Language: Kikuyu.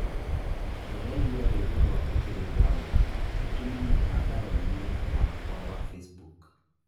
Ndĩraigua rwĩmbo rwa Otile Brown ũtũme mũtandaoni-inĩ wakwa wa facebook